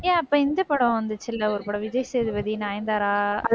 ஏன், அப்ப இந்த படம் வந்துச்சுல்ல, ஒரு படம் விஜய் சேதுபதி, நயன்தாரா